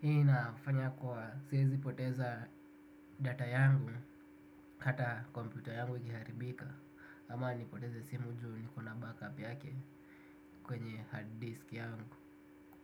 hii inafanya kuwa siwezipoteza data yangu. Hata kompyuta yangu ikiharibika ama nipoteze simu juu niko na backup yake kwenye hard disk yangu.